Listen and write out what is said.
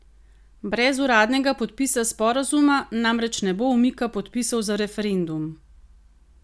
Brez uradnega podpisa sporazuma namreč ne bo umika podpisov za referendum.